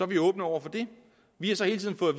vi åbne over for det vi har så hele tiden fået